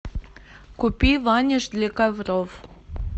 купи ваниш для ковров